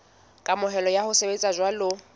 kamohelo ya ho sebetsa jwalo